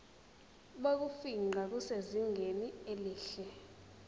bokufingqa busezingeni elihle